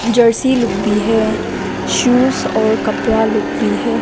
Jersey लोग भी है शूज़ और कपड़ा लोग भी है।